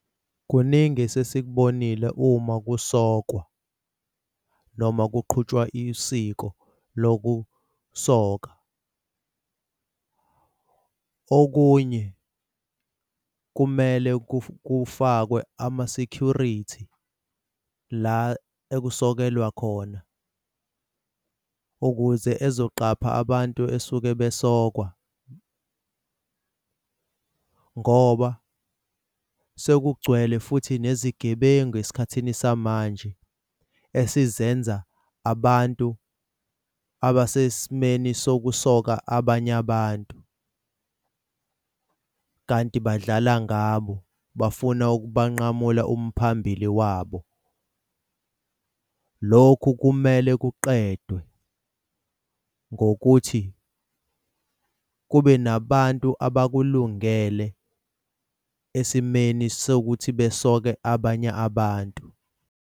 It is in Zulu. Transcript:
Kuningi esesikubonile uma kusokwa noma kuqhutshwa usiko lokusoka. Okunye kumele kufakwe ama-security la ekusokelwa khona ukuze ezoqapha abantu esuke besokwa ngoba sekugcwele futhi nezigebengu esikhathini samanje esizenza abantu abasesimeni sokusoka abanye abantu kanti badlala ngabo bafuna ukubanqamula umphambili wabo. Lokhu kumele kuqedwe ngokuthi kube nabantu abakulungele esimeni sokuthi besoke abanye abantu.